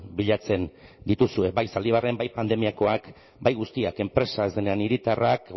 bilatzen dituzue bai zaldibarren bai pandemiakoak bai guztiak enpresa hiritarrak